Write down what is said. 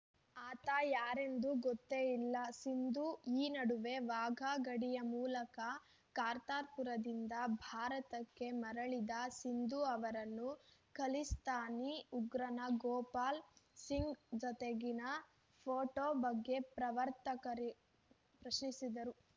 ಆತ ಯಾರೆಂದು ಗೊತ್ತೇ ಇಲ್ಲ ಸಿಧು ಈ ನಡುವೆ ವಾಘಾ ಗಡಿಯ ಮೂಲಕ ಕರ್ತಾರ್‌ಪುರದಿಂದ ಭಾರತಕ್ಕೆ ಮರಳಿದ ಸಿಧು ಅವರನ್ನು ಖಲಿಸ್ತಾನಿ ಉಗ್ರನ ಗೋಪಾಲ್‌ ಸಿಂಗ್‌ ಜತೆಗಿನ ಫೋಟೋ ಬಗ್ಗೆ ಪತ್ರಕರ್ತರು ಪ್ರಶ್ನಿಸಿದರು